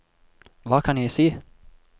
hva kan jeg si